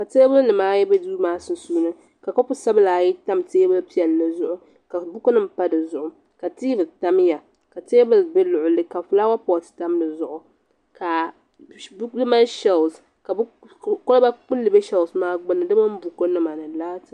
Ka teebulinima ayi be duu maa sunsuuni ka kopu sabila ayi tam teebuli piɛlli zuɣu ka bukunima pa di zuɣu ka tiivi tamya ka teebuli be luɣili ka fulaawa poti tam di zuɣu ka di mali shelisi ka koliba kpulli be shelisi maa gbunni di mini bukunima ni laati.